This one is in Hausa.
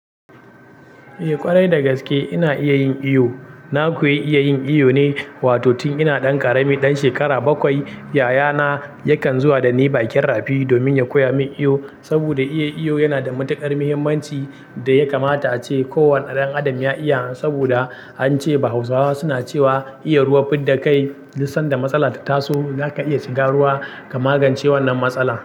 Eh ƙwarai dagaske ina iya yin iyo. Na ku iya yin iyo ne, wato tun ina ɗan ƙarami, ɗan shekara bakwai yaya na yakan zuwa da ni bakin rafi domin ya koya min iyo, saboda iya iyo yana da matuƙar muhimmanci da ya kamata ace ko wani ɗan adam ya iya. Saboda ance bahausawa suna cewa iya ruwa fidda kai, tun sanda matsala ta taso zaka iya shiga ruwa ka magance wannan matsala.